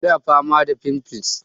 Ina fama da fimfles